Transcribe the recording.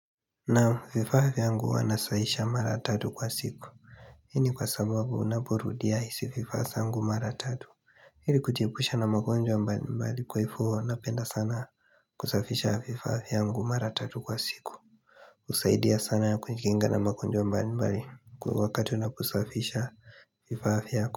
Naam vifaa vyangu huwa nasahihisha mara tatu kwa siku Hii ni kwa sababu unaporudia hizi vifaa zangu mara tatu Ili kujiepusha na magonjwa mbali mbali kwa hivyo napenda sana kusafisha vifaa yangu mara tatu kwa siku husaidia sana kujikinga na magonjwa mbali mbali kwa hivyo wakati unaposafisha vifaa vyako.